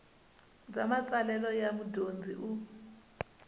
bya matsalelo ya mudyondzi u